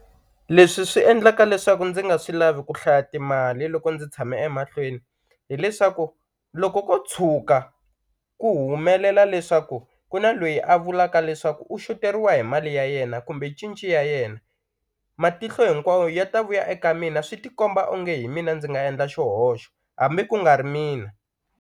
Leswi swi endlaka leswaku ndzi nga swi lavi ku hlaya timali loko ndzi tshame emahlweni hileswaku loko ko tshuka ku humelela leswaku ku na loyi a vulaka leswaku u xoteriwa hi mali ya yena kumbe cinci ya yena matihlo hinkwawo ya ta vuya eka mina swi ti komba onge hi mina ndzi nga endla xihoxo hambi ku nga ri mina.